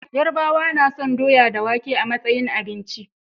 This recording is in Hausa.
Yarabawa nason doya da wake a matsayin abinci